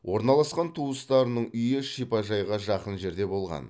орналасқан туыстарының үйі шипажайға жақын жерде болған